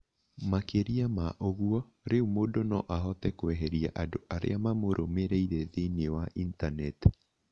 Makĩria ma ũguo, rĩu mũndũ no ahote kweheria andũ arĩa mamũrũmĩrĩire thĩinĩ wa Intaneti.